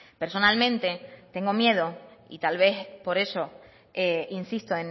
personalmente tengo miedo y tal vez por eso insisto